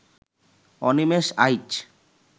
Animesh Aich